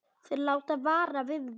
Þeir láta vara við mér.